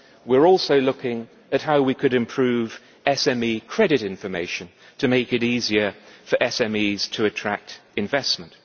We are also looking at how we could improve SME credit information to make it easier for SMEs to attract investment.